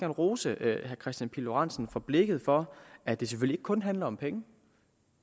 rose herre kristian pihl lorentzen for blikket for at det selvfølgelig ikke kun handler om penge